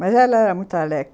Mas ela era muito alegre.